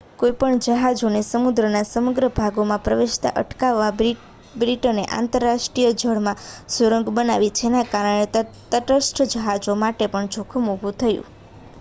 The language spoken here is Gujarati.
કોઈપણ જહાજોને સમુદ્રના સમગ્ર ભાગોમાં પ્રવેશતા અટકાવવા બ્રિટને આંતરરાષ્ટ્રીય જળમાં સુરંગ બનાવી જેના કારણે તટસ્થ જહાજો માટે પણ જોખમ ઊભું થયું